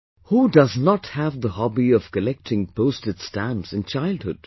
Who does not have the hobby of collecting postage stamps in childhood